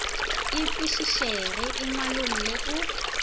e kwešišege e ngwalolle o